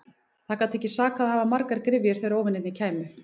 Það gat ekki sakað að hafa margar gryfjur þegar óvinirnir kæmu.